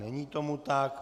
Není tomu tak.